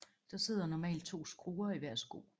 Der sidder normalt to skruer i hver sko